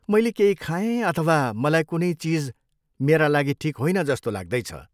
मैले केही खाएँ अथवा मलाई कुनै चिज मेरा लागि ठिक होइन जस्तो लाग्दैछ।